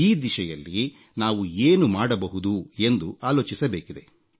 ಈ ದಿಶೆಯಲ್ಲಿ ನಾವು ಏನು ಮಾಡಬಹುದು ಎಂದು ಆಲೋಚಿಸಬೇಕಿದೆ